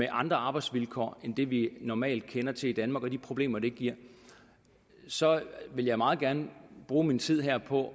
andre arbejdsvilkår end det vi normalt kender til i danmark med de problemer det giver så vil jeg meget gerne bruge min tid her på